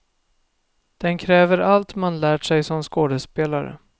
Den kräver allt man lärt sig som skådespelare.